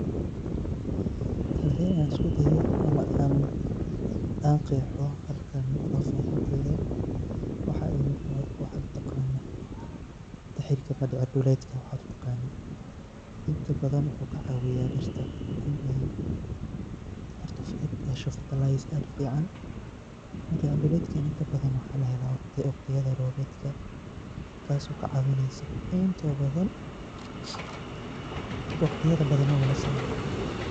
Hadi an iskudayo ama an gehoo halkani fafahinteyda, waxa imugda waxad utagano tihirka madicir duletk waxad utaganid, inta badan wuxu kacawiya diirta in ay hesho fertiliser aad ufican, madicir duletka inta badan waxa lahela wagtiyada roobedka taas oo kacawineyso intoda badan wagtiyada badan mawa lasiarko.